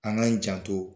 An k'an janto